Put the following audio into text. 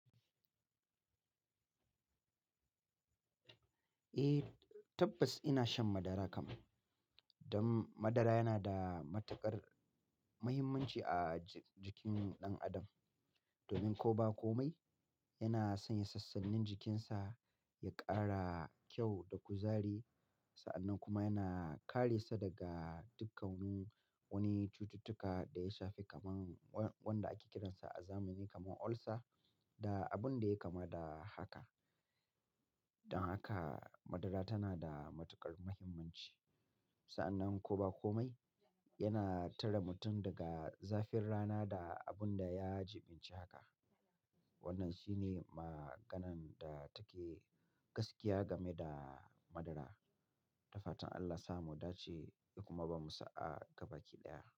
Eh, tabbas ina shan madara kam. Dan madara yana da matuƙar muhimmanci a jikin ɗan adam. Domin ko ba komai, yana sanya sassannin jikinsa ya ƙara kyau da kuzari, sa'annan kuma yana kare sa daga dukkan wani cututtuka da ya shafi kaman wanda ake kiran sa a zamani kaman ulcer da abin da ya kama da haka. Don haka madara tana da matuƙar muhimmanci. Sa'annan ko ba komai, yana tare mutum daga zafin rana da abun da ya jibinci haka. Wannan shine maganan da take gaskiya game da madara. Da fatan Allah sa mu dace, ya kuma bamu sa'a gaba ki ɗaya.